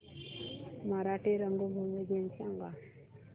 मराठी रंगभूमी दिन सांगा